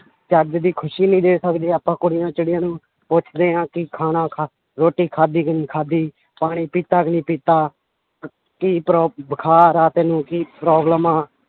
ਚੱਜ ਦੀ ਖ਼ੁਸ਼ੀ ਨੀ ਦੇ ਪਾ ਸਕਦੇ ਆਪਾਂ ਕੁੜੀਆਂ ਚਿੱੜੀਆਂ ਨੂੰ ਪੁੱਛਦੇ ਹਾਂ ਕਿ ਖਾਣਾ ਖਾ~ ਰੋਟੀ ਖਾਧੀ ਕਿ ਨਹੀਂ ਖਾਧੀ ਪਾਣੀ ਪੀਤਾ ਕਿ ਨਹੀਂ ਪੀਤਾ ਕੀ ਪਰੋ~ ਬੁਖਾਰ ਹੈ ਤੈਨੂੰ ਕੀ problem ਆ,